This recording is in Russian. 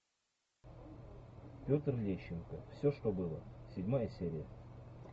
петр лещенко все что было седьмая серия